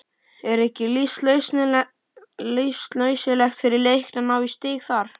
Er ekki lífsnauðsynlegt fyrir Leikni að ná í stig þar?